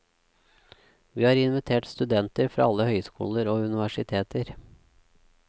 Vi har invitert studenter fra alle høyskoler og universiteter.